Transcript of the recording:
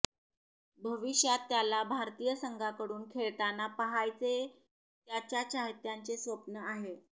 भविष्यात त्याला भारतीय संघाकडून खेळताना पाहायचे त्याच्या चात्यांचे स्वप्न आहे